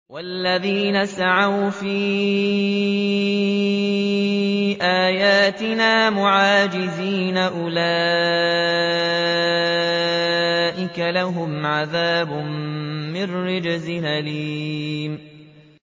وَالَّذِينَ سَعَوْا فِي آيَاتِنَا مُعَاجِزِينَ أُولَٰئِكَ لَهُمْ عَذَابٌ مِّن رِّجْزٍ أَلِيمٌ